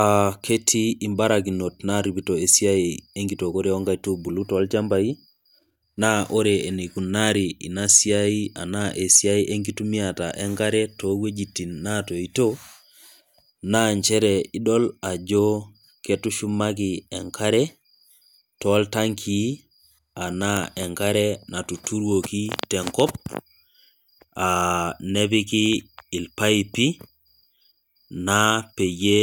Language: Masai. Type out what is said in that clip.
aaa ketii mbarakinot naaripito esiai enkitookore oo nkaitubulu tolchampai .naa ore enikunari ina esiai enkitumiata enkare too wuejitin naaotoito. naa nchere idol ajo ketushumaki enkare, tooltankii anaa enkare natuturuoki tenkop aa nepiki ilpaipi naa peyie